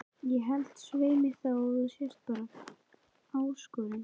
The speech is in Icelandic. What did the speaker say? Ég held svei mér þá að þú sért bara ÁSKORUN